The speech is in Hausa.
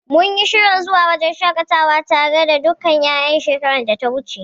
Mun yi shirin zuwa wajen shaƙatawa tare da dukkan ƴaƴan shekarar data wuce.